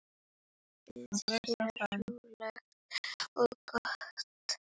Lífið sé rólegt og gott.